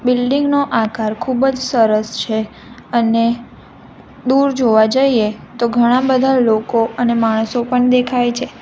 Building નો આકાર ખૂબ જ સરસ છે અને દૂર જોવા જઈએ તો ઘણા બધા લોકો અને માણસો પણ દેખાય છે.